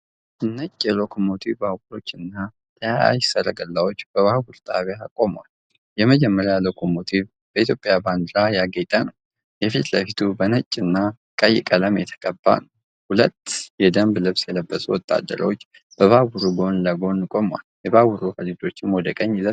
ነጭ የሎኮሞቲቭ ባቡሮችና ተያያዥ ሠረገላዎች በባቡር ጣቢያ ቆመዋል። የመጀመሪያው ሎኮሞቲቭ በኢትዮጵያ ባንዲራ ያጌጠ ነው፣ የፊት ለፊቱ በነጭና ቀይ ቀለም የተቀባ ነው፡። ሁለት የደንብ ልብስ የለበሱ ወታደሮች በባቡሩ ጎን ለጎን ቆመዋል፤ የባቡር ሀዲዶችም ወደ ቀኝ ይዘልቃሉ፡።